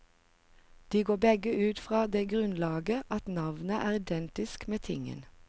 De går begge ut fra det grunnlaget at navnet er identisk med tingen.